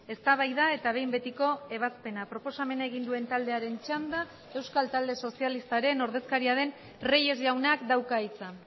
eztabaida eta behin betiko ebazpena proposamena egin duen taldearen txanda euskal talde sozialistaren ordezkaria den reyes jaunak dauka hitza